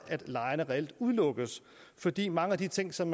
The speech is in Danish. at lejerne reelt udelukkes fordi mange af de ting som